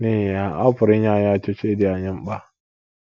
N'ihi ya, ọ pụrụ inye anyị ọchịchị dị anyị mkpa!